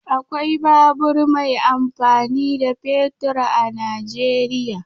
Akwai babur mai amfani da fetur a Najeriya.